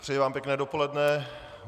Přeji vám pěkné dopoledne.